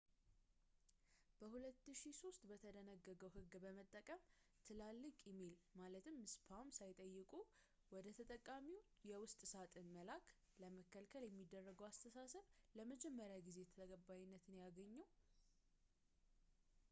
በ2003 የተደነገገውን ሕግ በመጠቀም ትላልቅ ኢሜል ማለትም spam ሳይጠየቁ ወደ ተጠቃሚዎች የውስጥ ሳጥን መላክን ለመከልከል የሚደረገው አስተሳሰብ ለመጀመሪያ ጊዜ ተቀባይነት እያገኘ ያለው